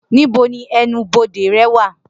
Nibo ni ẹnu-bode rẹ wa?